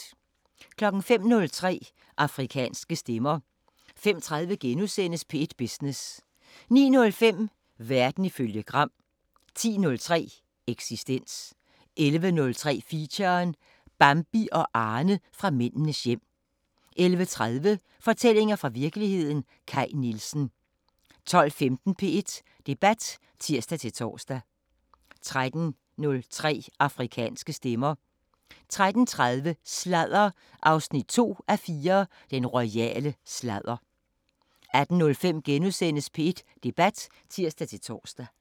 05:03: Afrikanske Stemmer 05:30: P1 Business * 09:05: Verden ifølge Gram 10:03: Eksistens 11:03: Feature: Bambi og Arne fra Mændenes hjem 11:30: Fortællinger fra virkeligheden – Kaj Nielsen 12:15: P1 Debat (tir-tor) 13:03: Afrikanske Stemmer 13:30: Sladder 2:4: Den royale sladder 18:05: P1 Debat *(tir-tor)